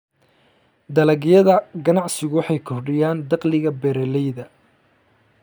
Dalagyada ganacsigu waxay kordhiyaan dakhliga beeralayda.